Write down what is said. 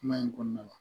Kuma in kɔnɔna la